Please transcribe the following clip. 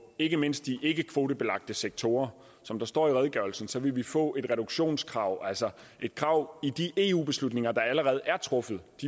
ikke mindst de ikkekvotebelagte sektorer som der står i redegørelsen vil vi få et reduktionskrav altså et krav i de eu beslutninger der allerede er truffet